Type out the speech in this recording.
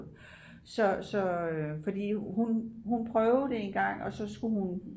så fordi hun prøvede det engang og så skulle hun